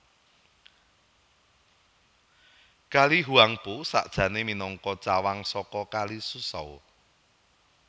Kali Huangpu sakjané minangka cawang saka Kali Suzhou